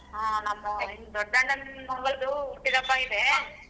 ಹಾ ನಮ್ ದೊಡ್ಡಣ್ಣನ ಮಗಳ್ದು ಹುಟ್ಟಿದಬ್ಬ ಇದೆ.